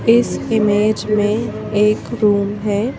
इस इमेज में एक रूम है।